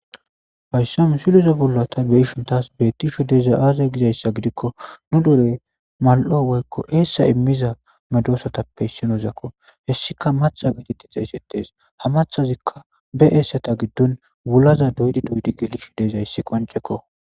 Hayisa misileza bolla tassi betishe dizayi aze gidazi gidikko nu dere mali'o woyiko essa emiza medosatape issi medossakko ika matha gidi xegetesi. He mathazika wula doyi doyi gelise desiko.